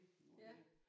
Mh okay